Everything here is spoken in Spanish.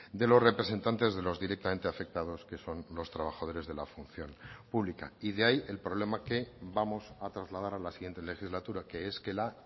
de los representantes de los directamente afectados que son los trabajadores de la función pública y de ahí el problema que vamos a trasladar a la siguiente legislatura que es que la